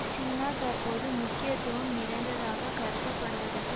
சீனா தற்போது முக்கியத்துவம் நிறைந்ததாக கருதப்படுவதற்கு